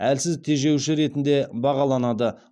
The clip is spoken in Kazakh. әлсіз тежеуші ретінде бағаланады